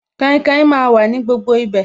Kainkain máa wà ní gbogbo ibi bẹ̀